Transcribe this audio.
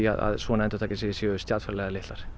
að svona endurtaki sig séu stjarnfræðilega litlar